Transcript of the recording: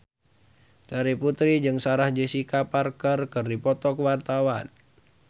Terry Putri jeung Sarah Jessica Parker keur dipoto ku wartawan